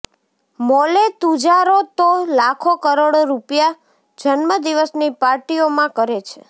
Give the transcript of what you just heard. માલેતુજારો તો લાખો કરોડો રુપિયા જન્મ દિવસની પાર્ટીઓમાં કરે છે